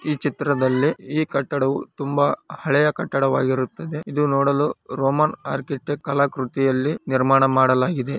ಈ ಚಿತ್ರದಲ್ಲಿ ಈ ಕಟ್ಟಡವು ತುಂಬಾ ಹಳೆಯ ಕಟ್ಟಡವಾಗಿರುತ್ತದೆ. ಇದು ನೋಡಲು ರೋಮಾನ್‌ ಆರ್ಟ್ ಕಲಾ ಕೃತಿಯಲ್ಲಿ ನಿರ್ಮಾಣ ಮಾಡಲಾಗಿದೆ.